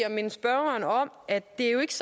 at minde spørgeren om at det jo ikke